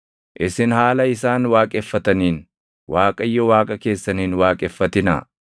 Isin haala isaan waaqeffataniin Waaqayyo Waaqa keessan hin waaqeffatinaa.